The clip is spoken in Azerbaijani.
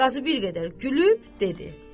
Qazı bir qədər gülüb dedi: